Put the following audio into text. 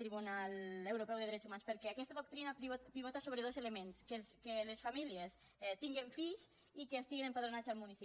tribunal europeu de drets humans perquè aquesta doctrina pivota sobre dos elements que les famílies tinguen fills i que estiguen empadronats al municipi